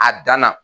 A dan na